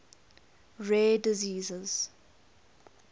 rare diseases